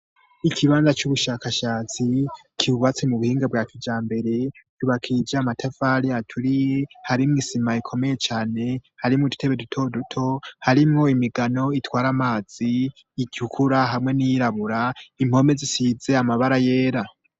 Ikibanza cy'ubushakashatsi cibatsi mu buhinga bwa cijya mbere yubakije amatevali aturiye harimo isima ikomeye cyane harimo idutebe duto duto harimo imigano itwara amazi icukura hamwe n'iyrabura impome zisitze amabara yera.